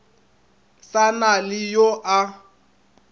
sa na le yo a